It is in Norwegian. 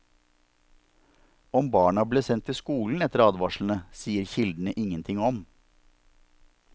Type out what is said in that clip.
Om barna ble sendt til skolen etter advarslene, sier kildene ingenting om.